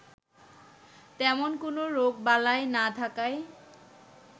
তেমন কোনো রোগবালাই না থাকায়